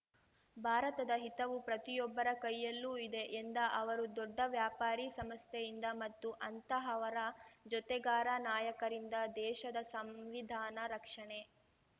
ಭಾರತದ ಹಿತವು ಪ್ರತಿಯೊಬ್ಬರ ಕೈಯಲ್ಲೂ ಇದೆ ಎಂದ ಅವರು ದೊಡ್ಡ ವ್ಯಾಪಾರಿ ಸಂಸ್ಥೆಯಿಂದ ಮತ್ತು ಅಂತಹವರ ಜೊತೆಗಾರ ನಾಯಕರಿಂದ ದೇಶದ ಸಂವಿಧಾನ ರಕ್ಷಣೆ